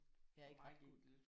Jeg er ikke ret god